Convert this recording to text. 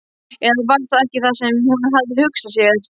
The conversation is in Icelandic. Eða var það ekki það sem hún hafði hugsað sér?